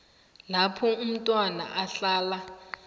lapho umntwana ahlala